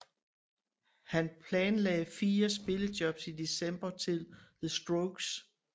Han planlagde fire spillejobs i december til The Strokes